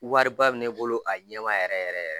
Wariba bɛ ne bolo a ɲɛma yɛrɛ yɛrɛ yɛrɛ